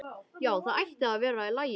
Já, það ætti að vera í lagi.